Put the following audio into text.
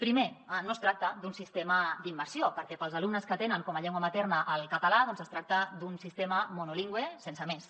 primer no es tracta d’un sistema d’immersió perquè per als alumnes que tenen com a llengua materna el català es tracta d’un sistema monolingüe sense més